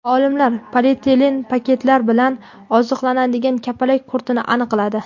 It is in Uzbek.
Olimlar polietilen paketlari bilan oziqlanadigan kapalak qurtini aniqladi.